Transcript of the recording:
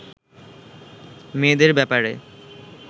মেয়েদের ব্যাপারে